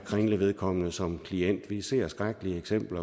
kringle vedkommende som klient vi ser skrækkelige eksempler